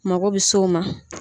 Makɔ bɛ se o ma.